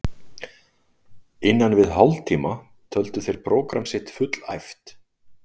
innan við hálftíma töldu þeir prógramm sitt fullæft.